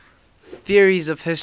theories of history